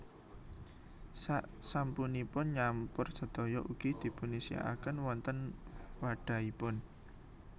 Sak sampunipun nyampur sedaya ugi dipunisiaken wonten wadhahipun